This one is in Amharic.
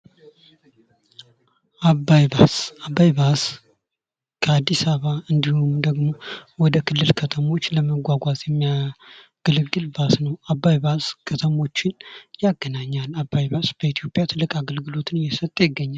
አባይ ባስ፤ አባይ ባስ ከአዲስ አበባ እንዲሁም ደግሞ ወደ ክልል ከተሞች ለመጓጓዝ የሚያገለግል ባስ ነው። አባይ ባስ ከተሞችን ያገናኛል። አባይ ባስ በኢትዮጵያ ትልቅ አገልግሎትን እየሰጠ ይገኛል።